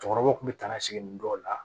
Cɛkɔrɔbaw kun bɛ taa na segini dɔw la